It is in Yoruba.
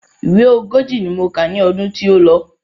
Ìwé ogójì ni mo kà ní ọdún tí ó lọ.